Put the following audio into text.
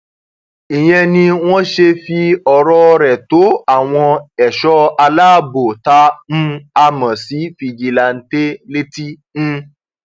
ìyẹn ni wọn ṣe fi ọrọ rẹ rẹ tó àwọn ẹṣọ aláàbọ tá um a mọ sí fìjìláńtẹ létí um